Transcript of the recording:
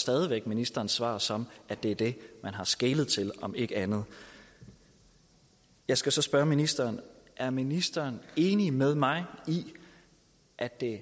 stadig væk ministerens svar som at det er det man har skelet til om ikke andet jeg skal så spørge ministeren er ministeren enig med mig i at det